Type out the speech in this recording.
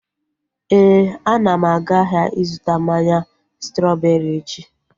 Éè, ana m aga ahịa ịzụta mmanya strọbeeri echi